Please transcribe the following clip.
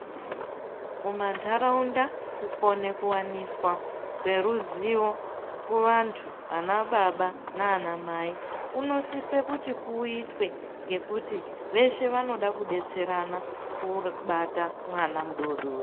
Mumantaraunda kukone kuwaniswa kweruzivo kuvantu vana baba nana mai kunosise kuti kuitwe ngekuti veshe vanoda kudetserana kubata mwana mudodori.